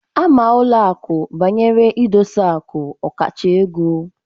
Ama ụlọ akụ banyere idosi aku okacha ego